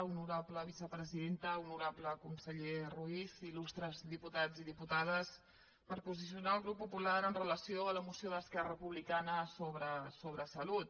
honorable vicepresidenta honorable conseller ruiz ildiputats i diputades per posicionar el grup popular amb relació a la moció d’esquerra republicana sobre salut